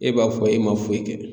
E b'a fɔ e ma foyi kɛ